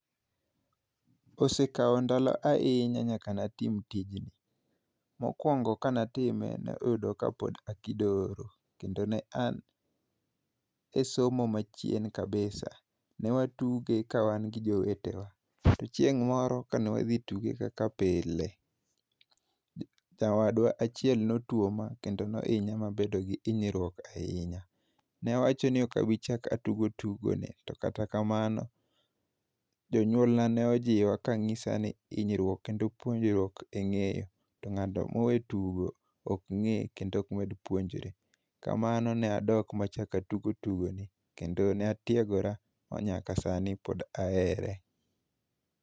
Osekawa ndalo ahinya nyaka ne atim tijni. Mokwongo ka ne atime, ne oyudo ka an kidoro. Kendo ne an e somo ma chien kabisa. Ne watuge ka wan gi jowetewa. To chieng' moro ka ne wadhi tuge kaka pile, nyawadwa achiel ne otuoma, kendo ne ohinya, ma abedo gi hinyruok ahinya. Ne awacho ni okabichak atug tugoni, to kata kamano, jonyuol na ne ojiwa, kanyisa ni hinyruor kendo puonjruok e ngéyo. To ngáto mowe tugo, ok ngé kendo okmed puonjore. Kamano ne adok ma achak atugo tugoni. Kendo ne atiegora ma nyaka sani pod ahere.